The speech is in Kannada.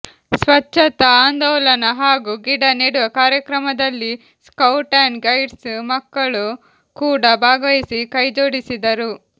ಸ್ವಚ್ಛತ ಆಂದೋಲನ ಹಾಗೂ ಗಿಡ ನೆಡುವ ಕಾರ್ಯಕ್ರಮದಲ್ಲಿ ಸ್ಕೌಟ್ ಅಂಡ್ ಗೈಡ್ಸ್ನ ಮಕ್ಕಳು ಕೂಡ ಭಾಗವಹಿಸಿ ಕೈಜೋಡಿಸಿದರು